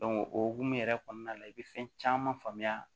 o hokumu yɛrɛ kɔnɔna la i bɛ fɛn caman faamuya